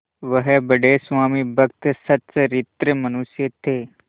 वह बड़े स्वामिभक्त और सच्चरित्र मनुष्य थे